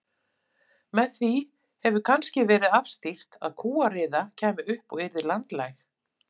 Með því hefur kannski verið afstýrt að kúariða kæmi upp og yrði landlæg.